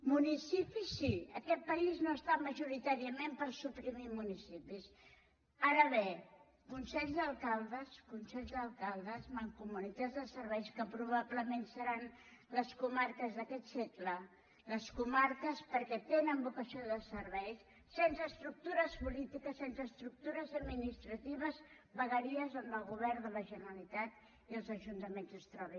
municipi sí aquest país no està majoritàriament per suprimir municipis ara bé consells d’alcaldes consells d’alcaldes mancomunitats de serveis que probablement seran les comarques d’aquest segle les comarques perquè tenen vocació de servei sense estructures polítiques sense estructures administratives vegueries on el govern de la generalitat i els ajuntaments es trobin